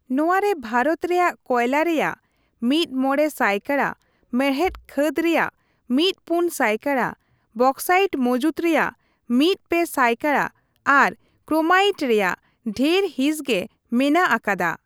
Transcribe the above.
ᱱᱚᱣᱟ ᱨᱮ ᱵᱷᱟᱨᱚᱛ ᱨᱮᱭᱟᱜ ᱠᱚᱭᱞᱟ ᱨᱮᱭᱟᱜ ᱢᱤᱫᱼᱢᱚᱬᱮ ᱥᱟᱭᱠᱟᱲᱟ, ᱢᱮᱬᱦᱮᱫ ᱠᱷᱟᱹᱫᱽ ᱨᱮᱭᱟᱜ ᱢᱤᱫᱼᱯᱳᱱᱼᱥᱟᱭᱠᱟᱲᱟ, ᱵᱚᱠᱥᱟᱭᱤᱴ ᱢᱚᱡᱩᱫᱽ ᱨᱮᱭᱟᱜ ᱢᱤᱫᱼᱯᱮ ᱥᱟᱭᱠᱟᱲᱟ ᱟᱨ ᱠᱨᱳᱢᱟᱭᱤᱴ ᱨᱮᱭᱟᱜ ᱰᱷᱮᱨ ᱦᱤᱸᱥ ᱜᱮ ᱢᱮᱱᱟᱜ ᱟᱠᱟᱫᱟ ᱾